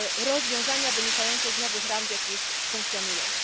rozwiązania wynikające z nowych ram, w jakich funkcjonujemy.